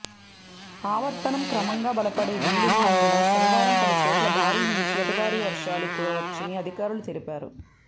ఆవర్తనం క్రమంగా బలపడే వీలున్నందున శనివారం పలు చోట్ల భారీ నుంచి అతి భారీ వర్షాలు కురుచ్చని అధికారులు తెలిపారు